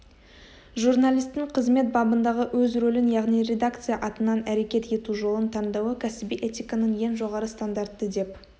журналистің қызмет бабындағы өз рөлін яғни редакция атынан әрекет ету жолын таңдауы кәсіби этиканың ең жоғары стандарты деп